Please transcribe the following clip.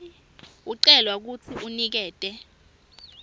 ucelwa kutsi unikete